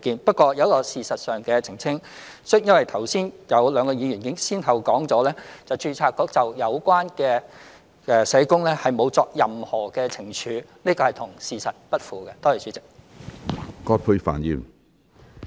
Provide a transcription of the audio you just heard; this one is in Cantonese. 不過，我有一個事實上的澄清，因為剛才有兩位議員先後表示註冊局沒有對有關社工作出任何懲處，這是與事實不符的。